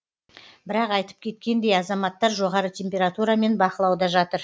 бірақ айтып кеткендей азаматтар жоғары температурамен бақылауда жатыр